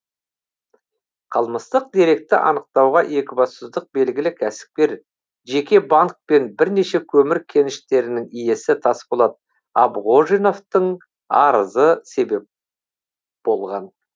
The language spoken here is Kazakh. қылмыстық деректі анықтауға екібастұздық белгілі кәсіпкер жеке банк пен біренеше көмір кеніштерінің иесі тасболат абғожиновтың арызы себеп болған